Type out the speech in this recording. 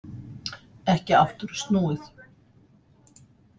Ekki aftur snúið